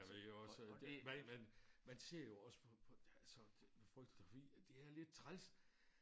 Jeg vil jo også man man man ser jo også på på altså det på fotografi at det er lidt træls